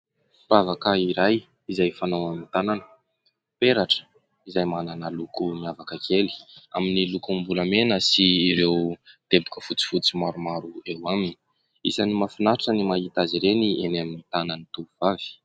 Firavaka iray izay fanao amin'ny tanana, peratra izay manana loko miavaka kely amin'ny lokom-bolamena sy ireo teboka fotsifotsy maromaro eo aminy. Isan'ny mahafinaritra ny mahita azy ireny eny amin'ny tanan'ny tovovavy.